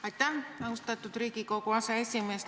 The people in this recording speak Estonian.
Aitäh, austatud Riigikogu aseesimees!